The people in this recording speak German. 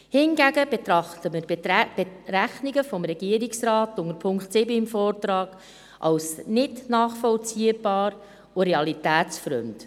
Hingegen betrachten wir die Berechnungen des Regierungsrates unter Punkt 7 im Vortrag als nicht nachvollziehbar und realitätsfremd.